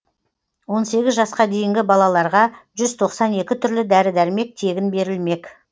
он сегіз жасқа дейінгі балаларға жүз тоқсан екі түрлі дәрі дәрмек тегін берілмек